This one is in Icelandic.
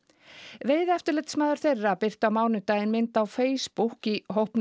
veiðieftirlitsmaður þeirra birti á mánudaginn mynd á Facebook í hópnum